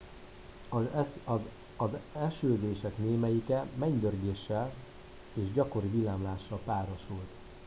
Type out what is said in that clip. az esőzések némelyike mennydörgéssel és gyakori villámlással párosult